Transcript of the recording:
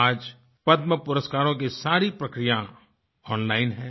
आज पद्म पुरस्कारों की सारी प्रक्रिया ओनलाइन है